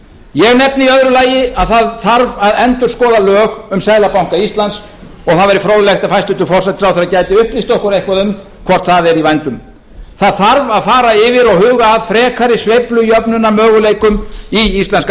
ég nefni í öðru lagi að það þarf að endurskoða lög um seðlabanka íslands og það væri fróðlegt ef hæstvirtur forsætisráðherra gæti upplýst okkur eitthvað um hvort það er í vændum það þarf að fara yfir og huga að frekari sveiflujöfnunarmöguleikum í íslenska